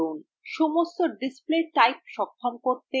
সমস্ত display types সক্ষম করতে pluginsএ যান